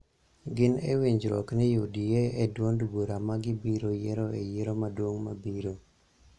gin e winjruok ni UDA e duond bura ma gibiro yiero e yiero maduong� mabiro.